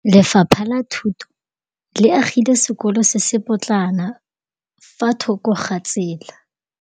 Lefapha la Thuto le agile sekôlô se se pôtlana fa thoko ga tsela.